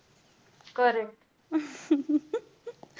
correct